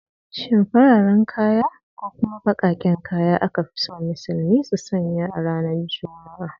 Shin farare ko kuma bakaken kaya aka fi so musulmi su sanya a ranar juma'a?